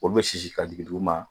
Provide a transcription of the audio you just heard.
Olu bɛ sisi ka jigin duguma